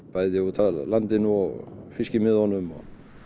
bæði út af landinu og fiskimiðunum